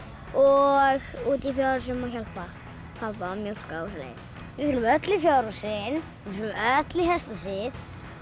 og úti í fjárhúsum að hjálpa pabba að mjólka og svoleiðis við förum öll í fjárhúsin við förum öll í hesthúsið